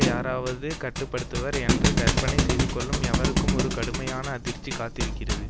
யாராவது கட்டுப்படுத்துவர் என்று கற்பனை செய்துகொள்ளும் எவருக்கும் ஒரு கடுமையான அதிர்ச்சி காத்திருக்கிறது